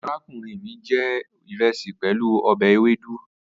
Arakunrin mi je iresi pelu obe ewedu